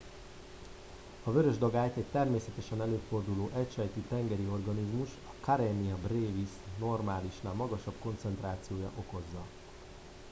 a vörös dagályt egy természetesen előforduló egysejtű tengeri organizmus a karenia brevis normálisnál magasabb koncentrációja okozza